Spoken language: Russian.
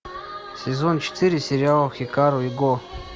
сезон четыре сериал хикару и го